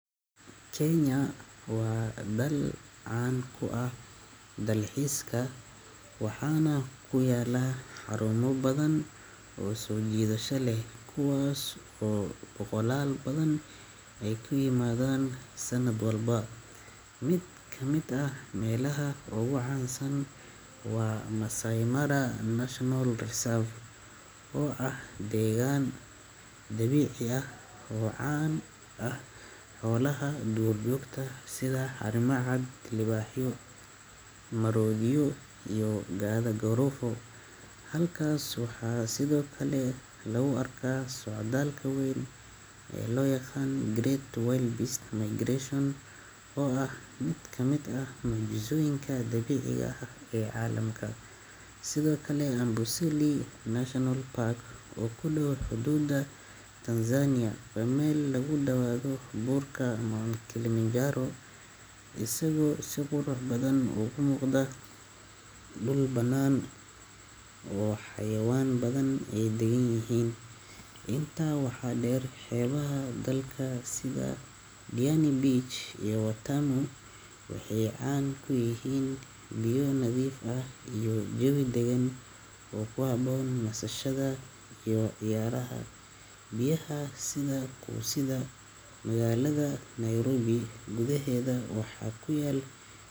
Kenya waa dal caan ku ah dalxiiska, waxaana ku yaalla xarumo badan oo soo jiidasho leh kuwaas oo soo booqdaal badan ay u yimaadaan sanad walba. Mid ka mid ah meelaha ugu caansan waa Maasai Mara National Reserve, oo ah deegaan dabiici ah oo caan ku ah xoolaha duurjoogta sida harimacad, libaaxyo, maroodiyo, iyo gaada-quruufo. Halkaas waxaa sidoo kale lagu arkaa socdaalka weyn ee loo yaqaan Great Wildebeest Migration oo ah mid ka mid ah mucjisooyinka dabiiciga ah ee caalamka. Sidoo kale Amboseli National Park oo ku dhow xuduudda Tanzania, waa meel lagu daawado buurka Mount Kilimanjaro isagoo si qurux badan uga muuqda dhul bannaan oo xayawaan badan ay deggan yihiin. Intaa waxaa dheer, xeebaha dalka sida Diani Beach iyo Watamu waxay caan ku yihiin biyo nadiif ah iyo jawi degan oo ku habboon nasashada iyo ciyaaraha biyaha sida quusidda. Magaalada Nairobi gudaheeda waxaa ku yaal.